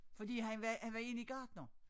Fordi han var han var egentlig gartner